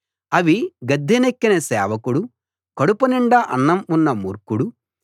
అవి గద్దెనెక్కిన సేవకుడు కడుపు నిండా అన్నం ఉన్న మూర్ఖుడు